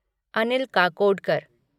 Anil Kakodkar